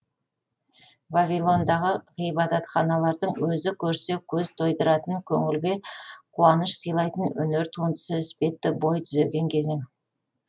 вавилондағы ғибадатханалардың өзі көрсе көз тойдыратын көңілге қуаныш сыйлайтын өнер туындысы іспетті бой түзеген кезең